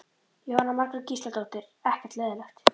Jóhanna Margrét Gísladóttir: Ekkert leiðinlegt?